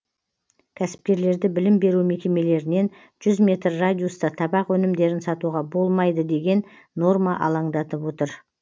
кәсіпкерлерді білім беру мекемелерінен жүз метр радиуста табак өнімдерін сатуға болмайды деген норма алаңдатып отыр